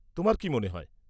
তোমার কী মনে হয়?